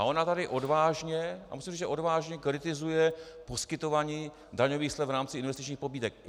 A ona tady odvážně, a musím říct, že odvážně, kritizuje poskytování daňových slev v rámci investičních pobídek.